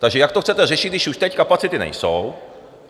Takže jak to chcete řešit, když už teď kapacity nejsou?